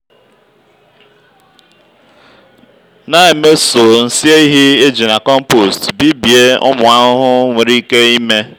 na-emeso nsị ehi eji na compost bibie ụmụ ahụhụ nwere ike ime.